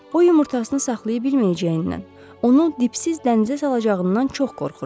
O yumurtasını saxlaya bilməyəcəyindən, onu dipsiz dənizə salacağından çox qorxurmuş.